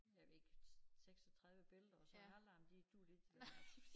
Jeg ved ikke 36 billede og så halvdelen de duede ikke til noget altså